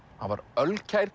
hann var